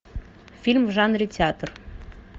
фильм в жанре театр